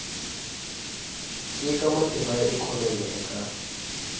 nyika matimba ya ikhonomi eka